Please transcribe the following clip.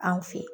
Anw fe yen